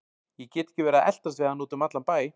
Ég get ekki verið að eltast við hana út um allan bæ.